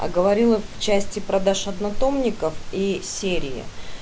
а говорила в части продаж однотомников и серии